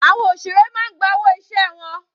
Àwọn òṣèré máa ń gba owó iṣẹ́ wọn.